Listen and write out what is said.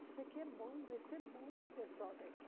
Isso aqui é bom, vai ser bom para o pessoal daqui.